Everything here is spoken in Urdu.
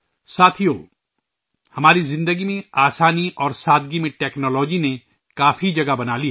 ساتھیو، ٹیکنالوجی نے ہماری زندگی میں آسانی اور سادگی میں کافی جگہ بنا لی ہے